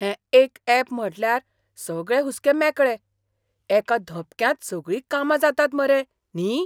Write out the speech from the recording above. हें एक यॅप म्हटल्यार सगळे हुस्के मेकळे. एका धपक्यांत सगळीं कामां जातात मरे, न्ही?